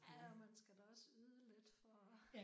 Ja og man skal da også yde lidt for